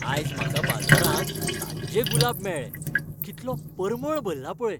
आयज म्हाका बाजारांत ताज्जे गुलाब मेळ्ळे. कितलो परमळ भल्ला पळय.